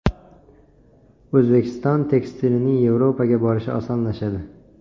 O‘zbekiston tekstilining Yevropaga borishi osonlashadi.